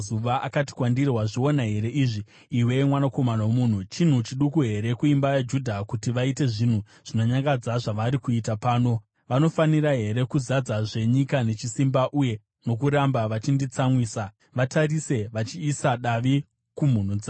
Akati kwandiri, “Wazviona here izvi, iwe mwanakomana womunhu? Chinhu chiduku here kuimba yaJudha kuti vaite zvinhu zvinonyangadza zvavari kuita pano? Vanofanira here kuzadzazve nyika nechisimba uye nokuramba vachinditsamwisa? Vatarise vachiisa davi kumhuno dzavo.